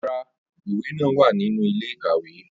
Rara, iwe naa wa ninu ile-ikawe